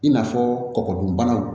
I n'a fɔ kɔgɔ dun banaw